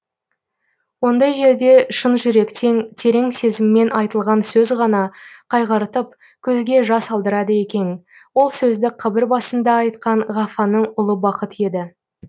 ондай жерде шын жүректен терең сезіммен айтылған сөз ғана қайғыртып көзге жас алдырады екен ол сөзді қабір басында айтқан ғафаңның ұлы бақыт еді